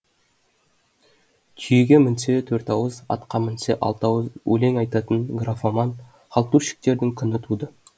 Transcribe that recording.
түйеге мінсе төрт ауыз атқа мінсе алты ауыз өлең айтатын графоман халтурщиктердің күні туды